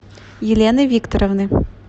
елены викторовны